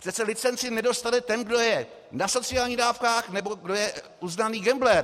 Přece licenci nedostane ten, kdo je na sociálních dávkách nebo kdo je uznaný gambler.